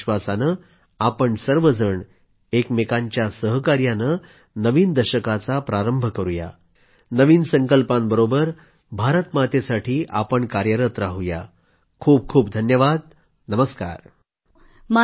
याच एका विश्वासाने आपण सर्वजण एकमेकांच्या सहकार्याने नवीन दशकाचा प्रारंभ करू या नवीन संकल्पांबरोबरच माँ भारतीसाठी आपण कार्यरत राहू या खूपखूप धन्यवाद नमस्कार